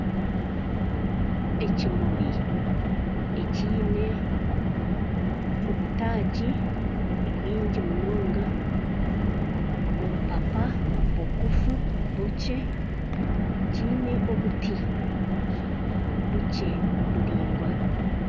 Ekimuri ekyine obutagi bwingi munonga obupapa bugufu bukye kyine obuti bukye buraingwa.